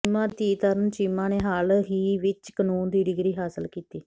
ਚੀਮਾ ਦੀ ਧੀ ਤਰੰਨੁ ਚੀਮਾ ਨੇ ਹਾਲ ਹੀ ਵਿੱਚ ਕਾਨੂੰਨ ਦੀ ਡਿਗਰੀ ਹਾਸਲ ਕੀਤੀ